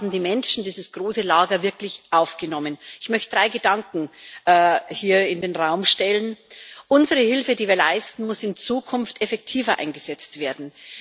Die Menschen wurden in diesem großen Lager wirklich gut aufgenommen. Ich möchte drei Gedanken hier in den Raum stellen Unsere Hilfe, die wir leisten muss in Zukunft effektiver eingesetzt werden.